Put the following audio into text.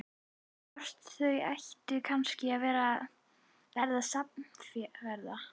Hvort þau ættu kannski að verða samferða?